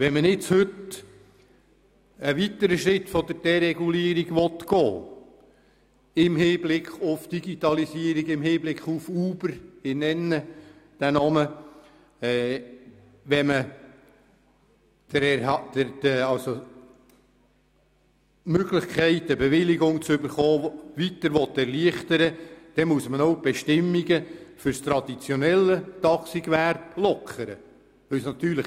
Wenn man nun im Hinblick auf die Digitalisierung und auf Uber einen weiteren Schritt in Richtung Deregulierung und der Möglichkeit, eine Bewilligung zu erhalten, gehen will, dann muss man auch die Bestimmungen für das traditionelle Taxigewerbe lockern.